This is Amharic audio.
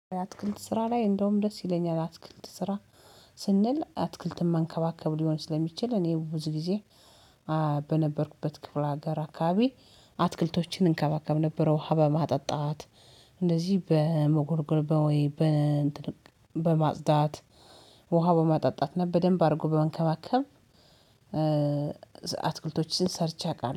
አትክልት ስራ ላይ እንደውም ደስ ይለኛል። አትክልት ስራ ስንል አትክልትን መንከባከብ ሊሆን ስለሚችል እኔ ብዙ ጊዜ በነበርኩበት ክፍለ ሀገር አካባቢ አትክልቶችን እንከባከብ ነበረ። ውሃ በማጠጣት እንደዚህ በመጎርጎር በወይ በማጽዳት ውሃ በማጠጣት ነው በደንብ አድርጎ በመንከባከብ። አትክልቶችን ሰርቼ አውቃለሁ